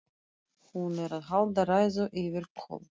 Hún er að halda ræðu yfir Kol: